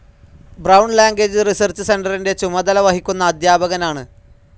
Brown language research സെൻ്ററിൻ്റെ ചുമതല വഹിക്കുന്ന അധ്യാപകനാണ്.